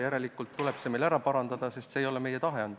Järelikult tuleb see säte meil ära parandada, sest selline ei ole meie tahe olnud.